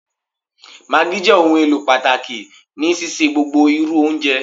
Maggi jẹ ohunelo pataki ni sise gbogbo iru ounjẹ.